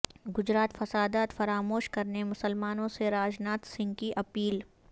گجرات فسادات فراموش کرنے مسلمانوں سے راج ناتھ سنگھ کی اپیل